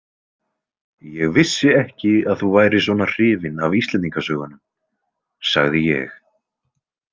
Ég vissi ekki að þú værir svona hrifin af Íslendingasögunum, sagði ég.